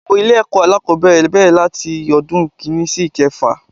Gbogbo Ilé èkó alákòbéèrè bèrè láti odún kìíní sí ìkefà